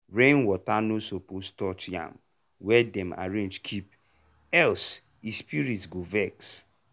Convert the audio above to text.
rainwater no suppose touch yam wey dem arrange keep else e spirit go vex.